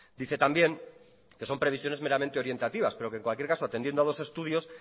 dice también que son previsiones meramente orientativas pero que en cualquier caso atendiendo a los estudios